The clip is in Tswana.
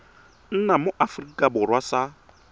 nna mo aforika borwa sa